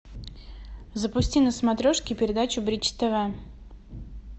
запусти на смотрешке передачу бридж тв